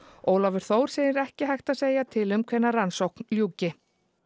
Ólafur Þór segir ekki hægt að segja til um hvenær rannsókn ljúki